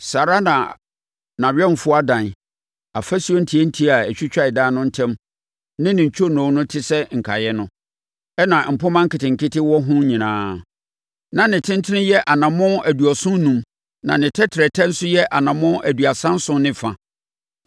saa ara na nʼawɛmfoɔ adan, afasuo ntiantia a ɛtwitwa adan no ntam ne ne ntwonoo tɛ sɛ nkaeɛ no, ɛnna mpomma nketenkete wɔ ɛho nyinaa. Na ne tentene yɛ anammɔn aduɔson enum, na ne tɛtrɛtɛ nso yɛ anammɔn aduasa nson ne fa.